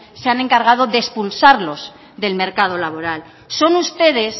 se han encargado de expulsarlos del mercado laboral son ustedes